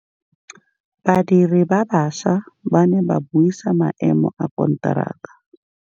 Badiri ba baša ba ne ba buisa maêmô a konteraka.